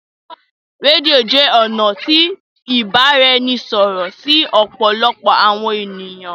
Rédíò jé ọnà tí ibaraẹnisọrọ sí òpòlopò àwọn ènìyàn.